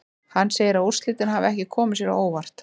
Hann segir að úrslitin hafi ekki komið sér á óvart.